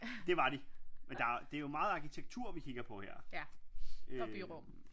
Det var de men der det er jo meget arkitektur vi kigger på her øh